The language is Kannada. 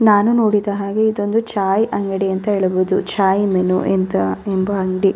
ನಾನು ನೋಡಿದ ಹಾಗೆ ಇದೊಂದು ಚಾಯ್ ಅಂಗಡಿ ಎಂದು ಹೇಳಬಹುದು ಚಾಯ್ ಮೆನು ಎಂಬ ಅಂಗಡಿ --